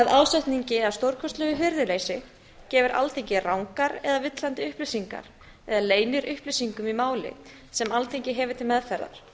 ásetningi eða stórkostlegu hirðuleysi gefur alþingi rangar eða villandi upplýsingar eða leynir upplýsingum í máli sem alþingi hefur til meðferðar